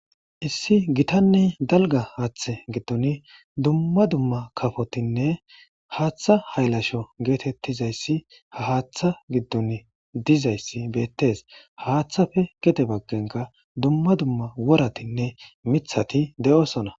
issi gitanney dalga haaththe giddun dumma dumma kafotinne haaththa haylasho geetettizayssi haaththa giddun dizayssi beettes haaththafe gete baggenka dumma dumma woratinne mithati de7osona